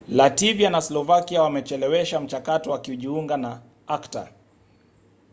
lativia na slovakia wamechelewesha mchakato wa kujiunga na acta